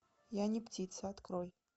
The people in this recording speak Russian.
я не птица открой